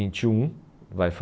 vinte e um vai